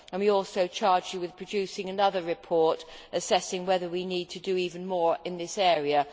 We also charged the Commission with producing another report assessing whether we need to do even more in this area.